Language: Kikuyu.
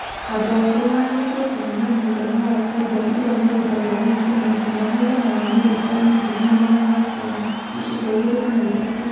Andũ akũrũ magĩrĩiruo kũnyihia mũigana wa sodium ĩrĩa mahũthagĩra o mũthenya nginya mũigana wa mirigramu ngiri na magana atano(iciko igĩrĩ kana ithatũ).